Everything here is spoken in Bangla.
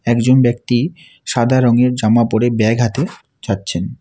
একজন ব্যক্তি সাদা রঙের জামা পরে ব্যাগ হাতে যাচ্ছেন।